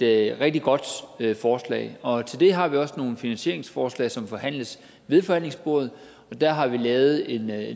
rigtig godt forslag og til det har vi også nogle finansieringsforslag som forhandles ved forhandlingsbordet og der har vi lavet en